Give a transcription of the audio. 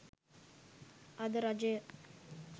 අද රජය